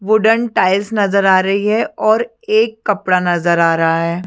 Wooden tiles नजर आ रही है और एक कपडा नजर आ रहा है।